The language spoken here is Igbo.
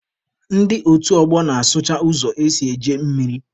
Ndị otu ọgbọ na-asụcha ụzọ esi eje mmiri.